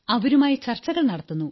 അവരുമായി ചർച്ചകൾ നടത്തുന്നു